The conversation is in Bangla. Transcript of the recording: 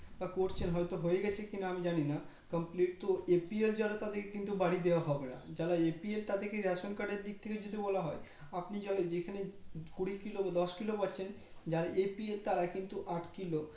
তা করছেন হয় তো হইয়া গেছে কি আমি জানি না completed তো APL যারা তাদেরকে কিন্তু বাড়ি দাওয়া হবে না যারা APL তাদেরকে ration card দিক থেকে যদি বলা হয় আপনি যা যেখানে কুড়ি কিলো দশ কিলো পাচ্ছেন যারা APL তারা কিন্তু আট কিলো